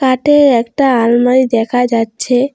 তাতে একটা আলমারি দেখা যাচ্ছে।